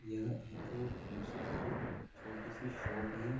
यह एक ग्रोसरी की छोटी सी शॉप है।